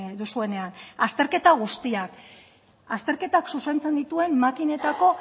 duzuenean azterketa guztiak azterketak zuzentzen dituen makinetako